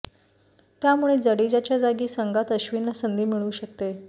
त्यामुळे जडेजाच्या जागी संघात अश्विनला संधी मिळू शकते